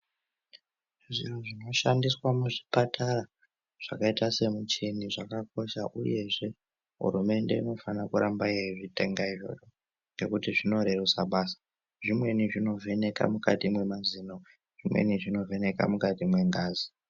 Zviro zvinoshandiswa muzvipatara zvakaota semuchini zvakakosha uyezve hurumende inofane kuramba yeizvitenga izvozvo ngekuti zvinoretysa basa zvimweni zvinovheneka mukati mwemazino zvimweni zvinovheneka mukati mwengazi.